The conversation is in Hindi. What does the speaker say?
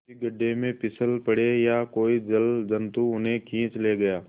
किसी गढ़े में फिसल पड़े या कोई जलजंतु उन्हें खींच ले गया